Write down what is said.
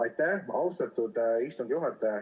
Aitäh, auväärt istungi juhataja!